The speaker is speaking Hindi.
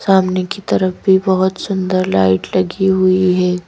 सामने की तरफ भी बहोत सुंदर लाइट लगी हुई है।